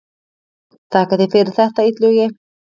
Þakka þér fyrir þetta Illugi.